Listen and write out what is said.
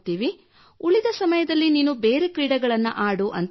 ಉಳಿದ ಸಮಯದಲ್ಲಿ ನೀನು ಬೇರೆ ಕ್ರೀಡೆಗಳನ್ನು ಆಡು ಎಂದು ಹೇಳಿದರು